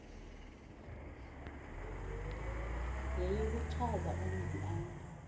yeyokuchaza umzi apho